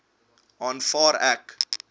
aanvaar ek